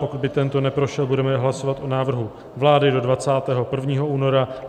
Pokud by tento neprošel, budeme hlasovat o návrhu vlády do 21. února.